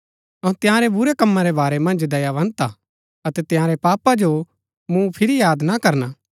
अऊँ तंयारै बुरै कमां रै बारै मन्ज दयावन्त हा अतै तंयारै पापा जो मूँ फिरी याद ना करना